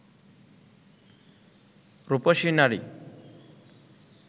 রুপসী নারী